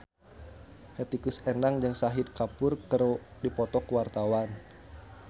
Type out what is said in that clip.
Hetty Koes Endang jeung Shahid Kapoor keur dipoto ku wartawan